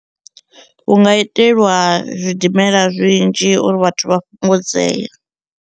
Hu nga itelwa zwidimela zwinzhi uri vhathu vha fhungudzee.